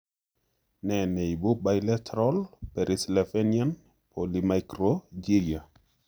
Nee neibu bileteral perisylvanian polymicrogyria